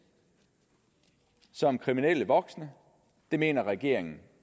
som kriminelle voksne og det mener regeringen